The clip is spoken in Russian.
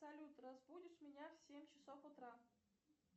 салют разбудишь меня в семь часов утра